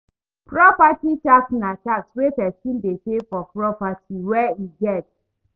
Property tax na tax wey person dey pay for property wey im get